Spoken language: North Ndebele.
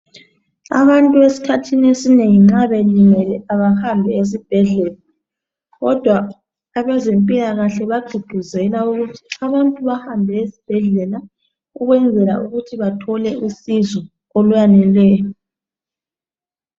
Abantu eskhathini esinengi nxa belimele abahambi esibhedlela. Kodwa abezempilakahle bagqugquzela ukuthi abantu bahambe esibhedlela ukwenzela ukuthi bathole usizo uluyaneleyo.